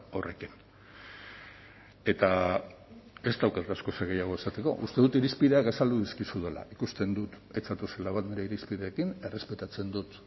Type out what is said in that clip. horrekin eta ez daukat askoz gehiago esateko uste dut irizpideak azaldu dizkizudala ikusten dut ez zatozela bat nire irizpideekin errespetatzen dut